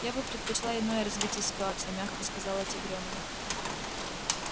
я бы предпочла иное развитие ситуации мягко сказала тигрёнок